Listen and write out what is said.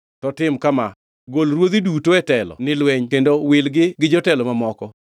To tim kama: Gol ruodhi duto e telo ni lweny kendo wilgi gi jotelo mamoko.